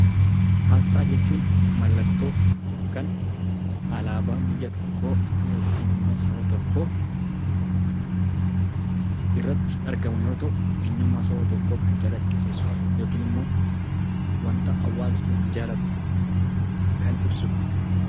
Asxaa jechuun mallattoo yookaan alaabaa biyya tokkoo yookiin saba tokkoo irratti argamu yoo ta'u, eenyummaa saba tokkoo kan calaqqisiisu yookiin immoo wanta hawaasni jaallatu kan ibsudha.